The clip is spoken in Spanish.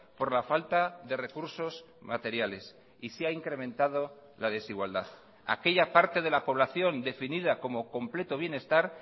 por la falta de recursos materiales y se ha incrementado la desigualdad aquella parte de la población definida como completo bienestar